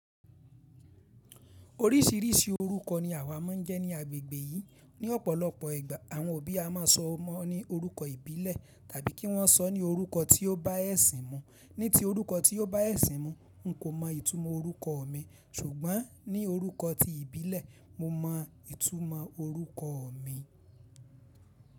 Oríṣìíríṣìí orúkọ ni àwa máa ń jẹ́ ní agbègbè yìí. Ni ọ̀pọ̀lọpọ̀ ìgbà àwọn òbí a máa sọ ọmọ ní orúkọ ìbílẹ̀ tàbí kí wọ́n sọ ní orúkọ tí ó bá ẹ̀sìn mu. Ní ti orúkọ tí ó bá ẹ̀sìn mu, n kò mọ ìtumọ̀ orúkọ mi, ṣùgbọ́n ní orúkọ tí ìbílẹ̀, mo mọ ìtumọ̀ orúkọ mi.